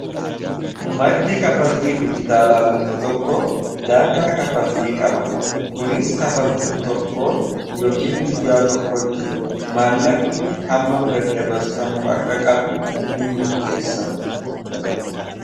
Maddi kanfaltii dijitaalaa tokko tokko daangaa kanfaltii qaba. Kunis kanfaltiin tokko yookiin guyyaa tokkotti maallaqni hammam daddabarfamuu akka qabu nimurteessa.